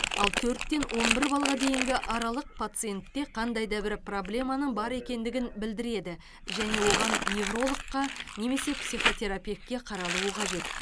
ал төрттен он бір баллға дейінгі аралық пациентте қандайда бір проблеманың бар екендігін білдірді және оған неврологқа немесе психотерапевтке қаралуы қажет